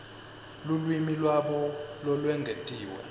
lulwimi lwabo lolwengetiwe